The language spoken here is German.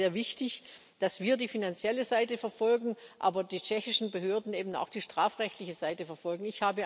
Es wäre sehr wichtig, dass wir die finanzielle Seite verfolgen, aber die tschechischen Behörden eben auch die strafrechtliche Seite verfolgen.